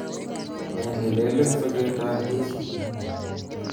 Nee neleel eng soketab Hisa